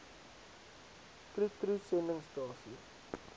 troe troe sendingstasie